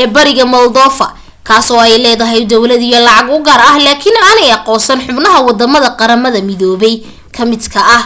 ee bariga moldova kaas oo ay leedahay dawlad iyo lacag u gaar ah laakiin aanay aqoonsan xubnahaa wadamada qaramada midobe ka mid ka ah